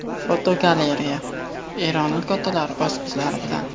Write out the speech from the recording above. Fotogalereya: Eronlik otalar o‘z qizlari bilan.